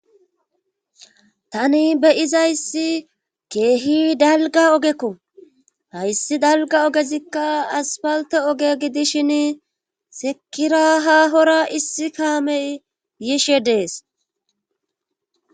tani beyizayssi keehi dalga ogekko hayssi dalga ogezikka aspalte oge gidishin sekira hahora issi kaamey yishe dees